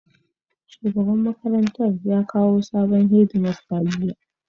Shugaban makarantar ya kawo sabon Head master jiya